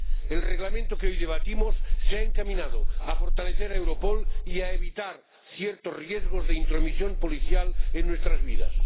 El Reglamento que hoy debatimos se ha encaminado a fortalecer a Europol y a evitar ciertos riesgos de intromisión policial en nuestras vidas.